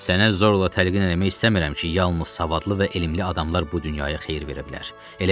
Sənə zorla təlqin eləmək istəmirəm ki, yalnız savadlı və elmli adamlar bu dünyaya xeyir verə bilər.